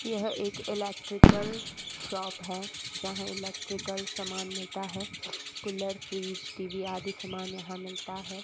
यह एक electrical shop है जहां इलेक्ट्रिकल सामान मिलता है कूलर फ्रिज टी_वी आदि सामान यहां मिलता है।